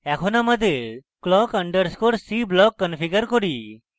এখন আমাদের clock _ c block configure করি